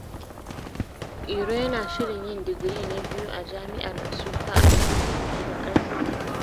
Iro yana shirin yin digiri na biyu a Jami’ar Nsukka a fannin tattalin arziki.